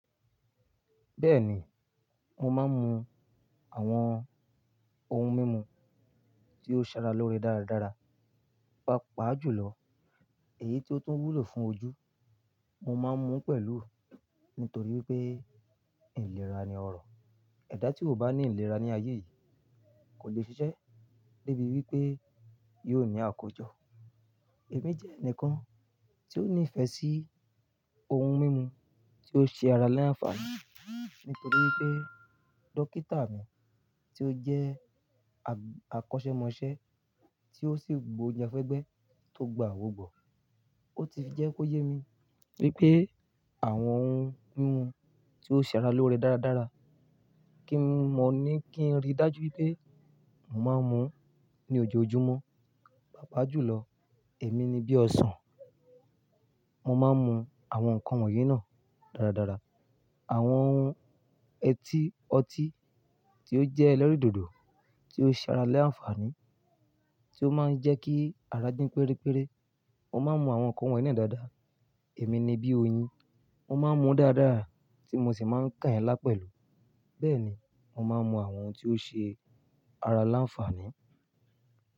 Bẹ́ẹ̀ni, mo máa ń mu àwọn ohun mímu tí ó ṣe ara lóore dáradára. Pàápàá jùlọ, èyí tí ó tún wúlò fún ojú, mo máa ń mu pẹ̀lú nítorí pé ìlera ni ọrọ̀. Ẹ dá tí o bá ní ìlera ní ayé yìí kò lè ṣiṣẹ́ débi wípé yóò ní àkójọ. Èmi jẹ́ ẹnìkan tí ó ní ìfẹ́ sí ohun mímu tí ó ṣe ara láǹfààní nítorí pé dókítà mi tí ó jẹ́ akọ́ṣẹ́mọṣẹ́ tí ó sì gbounjèfẹ́gbẹ́ tó gba àwò gbọ̀, ó ti fi jẹ́ kó yé mi wípé àwọn ohun mímu tí ó ṣe ara lóore dáradára kí n mọ̀ ní kí n rí dájú ipé mo máa ń mu ní ojoojúmọ́. Pàápàá jùlọ, èmi ni bí ọsàn, mo máa ń mu àwọn nǹkan wọ̀nyí náà dáradára. Àwọn ohun etí ọtí tí ó jẹ́ ẹlẹ́rìndòdò tí ó ṣe ara láǹfààní tí ó máa ń jẹ́ kí ara dín pérére, mo máa ń mu àwọn nǹkan wọ́n yì na dáadáa. Èmi ni bí oyin, mo máa ń mu dáradára tí mo sì máa ń kàn yẹ́ lá pẹ̀lú. Bẹ́ẹ̀ ni, mo máa ń mu àwọn ohun tí ó ṣe ara láǹfààní.